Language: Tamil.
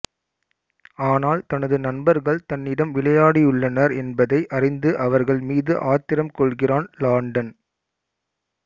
ஆனால் தனது நண்பர்கள் தன்னிடம் விளையாடியுள்ளனர் என்பதை அறிந்து அவர்கள் மீது ஆத்திரம் கொள்கிறான் லாண்டன்